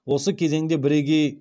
осы кезеңде бірегей